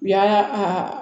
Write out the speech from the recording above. U y'a a